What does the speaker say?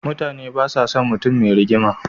Mutane basa son mutun me rigima